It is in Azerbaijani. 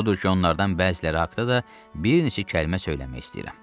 Odur ki, onlardan bəziləri haqda da bir neçə kəlmə söyləmək istəyirəm.